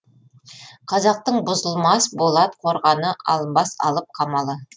қазақтың бұзылмас болат қорғаны алынбас алып қамалы